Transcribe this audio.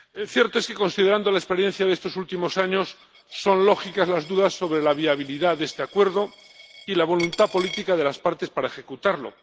Cierto es que, considerando la experiencia de estos últimos años, son lógicas las dudas sobre la viabilidad de este acuerdo y la voluntad política de las partes para ejecutarlo.